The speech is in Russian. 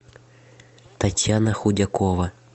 татьяна худякова